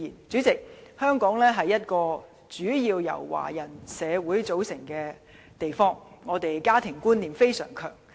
主席，香港是一個主要由華人組成的社會，家庭觀念相當強。